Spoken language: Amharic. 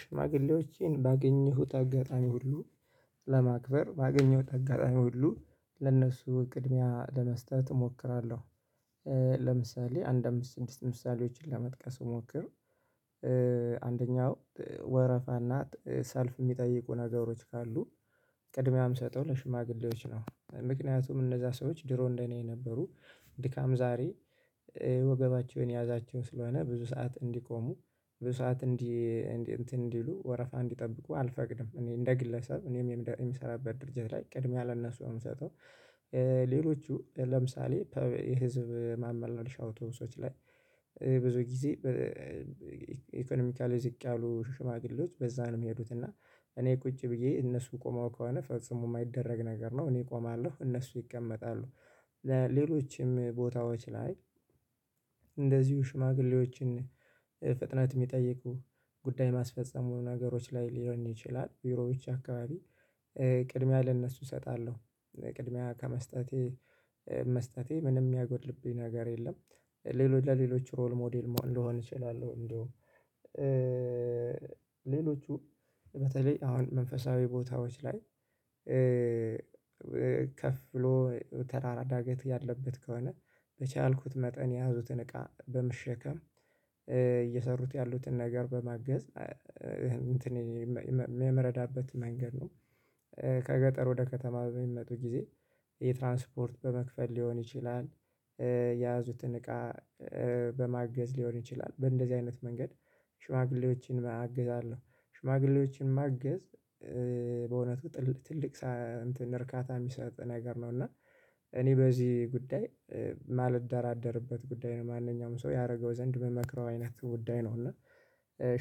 ሽማግሌዎችን ባገኘሁት አጋጣሚ ሁሉ ለማክበር፥ ባገኘሁት አጋጣሚ ሁሉ ለነሱ ቅድሚያ ለመስጠት እሞክራለሁ። ለምሳሌ አንድ አምስት ምሳሌዎችን ለመጥቀስ ብሞክር አንደኛው፥ ወረፋ እና ሰልፍ የሚጠይቁ ነገሮች ካሉ ቅድሚያም ሰጠው ለሽማግሌዎች ነው። ምክንያቱም እነዛ ሰዎች ድሮ እንደኔ የነበሩ። ድካም ዛሬ ወገባቸውን የያዛቸው ስለሆነ ብዙ ሰዓት እንዲቆሙ፤ ብዙ ሰዓት እንዲ እንትን እንዲሉ ወረፋ እንዲጠብቁ አልፈቅድም። እኔ እንደ ግለሰብ እኔም የምሰራበት ድርጅት ላይ ቅድሚያ ለእነሱ ነው ምሰጠው። ሌሎቹ ለምሳሌ የህዝብ ማመልለሻ አውቶብሶች ላይ ብዙ ጊዜ ኢኮኖሚካሊ ዝቅ ያሉ ሽማግሌዎች በዛ ነው የሚሄዱት እና እኔ ቁጭ ብዬ እነሱ ቆመው ከሆነ ፈጽሞ የማይደረግ ነገር ነው። እኔ እቆማለሁ እነሱ ይቀመጣሉ። ለሌሎችም ቦታዎች ላይ እንደዚሁ ሽማግሌዎችን ፍጥነት ሚጠይቁ ጉዳይ ማስፈጸሙ ነገሮች ላይ ሊሆን ይችላል ቢሮዎች አካባቢ ቅድሚያ ለእነሱ እሰጣለሁ። ቅድሚያ ከመስጠቴ መስጠቴ ምንም ሚያጎድልብኝ ነገር የለም። ሌሎች ለሌሎች ሮል ሞዴል መሆን ልሆን እችላለሁ፥ እንደውም ሌሎቹ በተለይ አሁን መንፈሳዊ ቦታዎች ላይ ከፍ ብሎ ተራራ ዳገት ያለበት ከሆነ፥ በቻልኩት መጠን የያዙትን እቃ በመሸከም እየሰሩት ያሉትን ነገር በማገዝ እንትን የምረዳበት መንገድ ነው። ከገጠር ወደ ከተማ በሚመጡ ጊዜ የትራንስፖርት በመክፈል ሊሆን ይችላል፥ የያዙትን እቃ በማገዝ ሊሆን ይችላል በእንደዚህ አይነት መንገድ ሽማግሌዎችን አግዛለሁ። ሽማግሌዎችን ማገዝ በእውነቱ ትልቅ እንትን እርካታ ሚሰጥ ነገር ነው እና እኔ በዚህ ጉዳይ ማልደራደርበት ጉዳይ ነው። ማንኛውም ሰው ያደረገው ዘንድ ምመክረው አይነት ጉዳይ ነው እና